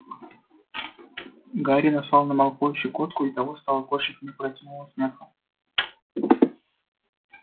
гарри наслал на малфоя щекотку и того стало корчить от неукротимого смеха